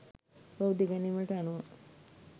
බෞද්ධ ඉගැන්වීම්වලට අනුව,